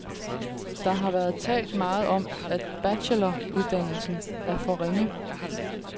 Der har været talt meget om, at bacheloruddannelsen er for ringe.